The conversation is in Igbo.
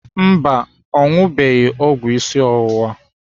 Mba, ọ ṅụbeghị ọgwụ isi ọwụwa.